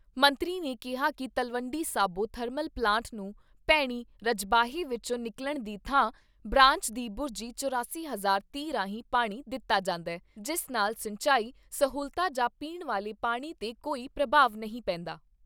ਮੰਤਰੀ ਨੇ ਕਿਹਾ ਕਿ ਤਲਵੰਡੀ ਸਾਬੋ ਥਰਮਲ ਪਲਾਂਟ ਨੂੰ ਭੈਣੀ ਰਜਬਾਹੇ ਵਿਚੋਂ ਨਿਕਲਣ ਦੀ ਥਾਂ ਬਰਾਂਚ ਦੀ ਬੁਰਜੀ ਚੁਰਾਸੀ ਸੌ ਤੀਹ ਰਾਹੀਂ ਪਾਣੀ ਦਿੱਤਾ ਜਾਂਦਾ, ਜਿਸ ਨਾਲ ਸਿੰਚਾਈ ਸਹੂਲਤਾਂ ਜਾ ਪੀਣ ਵਾਲੇ ਪਾਣੀ 'ਤੇ ਕੋਈ ਪ੍ਰਭਾਵ ਨਹੀਂ ਪੈਂਦਾ।